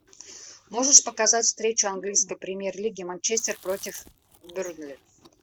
можешь показать встречу английской премьер лиги манчестер против бернли